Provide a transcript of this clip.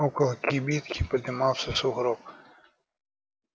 около кибитки подымался сугроб